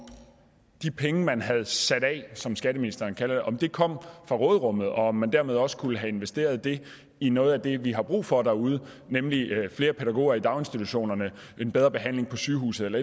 de penge man havde sat af som skatteministeren kalder det kom fra råderummet og om man dermed også kunne have investeret dem i noget af det vi har brug for derude nemlig flere pædagoger i daginstitutionerne bedre behandling på sygehusene